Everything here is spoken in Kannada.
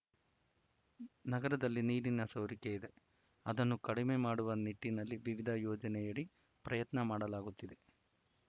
ನಗರದಲ್ಲಿ ನೀರಿನ ಸೋರಿಕೆ ಇದೆ ಅದನ್ನು ಕಡಿಮೆ ಮಾಡುವ ನಿಟ್ಟಿನಲ್ಲಿ ವಿವಿಧ ಯೋಜನೆಯಡಿ ಪ್ರಯತ್ನ ಮಾಡಲಾಗುತ್ತಿದೆ